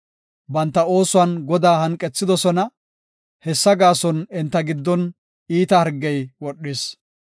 Banta oosuwan Godaa hanqethidosona; hessa gaason enta giddon iita hargey wodhis.